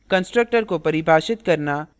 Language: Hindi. constructor को परिभाषित करना